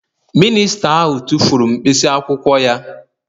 Mịnịsta ahụ tụfuru mkpịsị akwụkwọ ya